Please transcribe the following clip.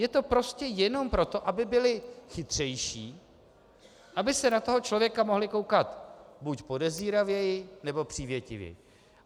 Je to prostě jenom proto, aby byli chytřejší, aby se na toho člověka mohli koukat buď podezíravěji, nebo přívětivěji.